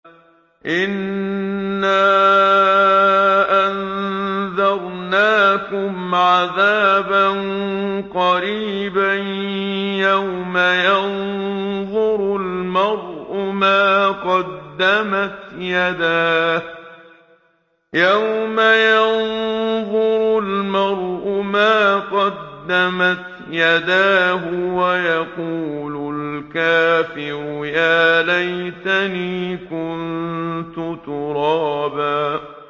إِنَّا أَنذَرْنَاكُمْ عَذَابًا قَرِيبًا يَوْمَ يَنظُرُ الْمَرْءُ مَا قَدَّمَتْ يَدَاهُ وَيَقُولُ الْكَافِرُ يَا لَيْتَنِي كُنتُ تُرَابًا